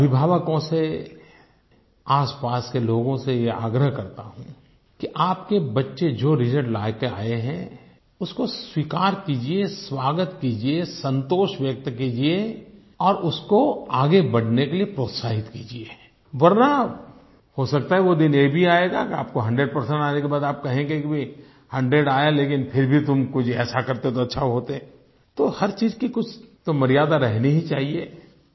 मैं अभिभावकों से आसपास के लोगों से ये आग्रह करता हूँ कि आपके बच्चे जो रिजल्ट लेकर आए हैं उसको स्वीकार कीजिए स्वागत कीजिए संतोष व्यक्त कीजिए और उसको आगे बढ़ने के लिए प्रोत्साहित कीजिए वरना हो सकता है वो दिन ये भी आएगा कि आपको 100 परसेंट आने के बाद आप कहें कि भई 100 आया लेकिन फिर भी तुम कुछ ऐसा करते तो अच्छा होते तो हर चीज़ की कुछ तो मर्यादा रहनी ही चाहिए